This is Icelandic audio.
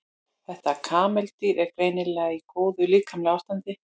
Þetta kameldýr er greinilega í góðu líkamlegu ástandi.